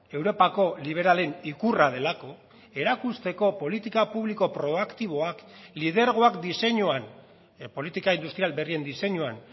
europako liberalen ikurra delako erakusteko politika publiko proaktiboak lidergoak diseinuan politika industrial berrien diseinuan